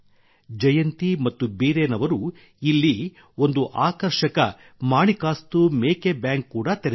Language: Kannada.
ಜಯಂತಿ ಮತ್ತು ಬೀರೇನ್ ಅವರು ಇಲ್ಲಿ ಒಂದು ಆಕರ್ಷಕ ಮಾಣಿಕಾಸ್ತು ಮೇಕೆ ಬ್ಯಾಂಕ್ ಕೂಡಾ ತೆರೆದರು